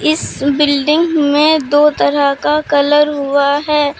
इस बिल्डिंग में दो तरह का कलर हुआ है।